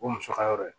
O ye muso ka yɔrɔ ye